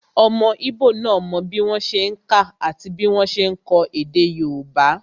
Ọmọ íbò náà mọ bí wọ́n ṣe n kà àti bí wọ́n ṣe n kọ èdè yóòbá